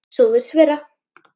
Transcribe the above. Svo virðist vera.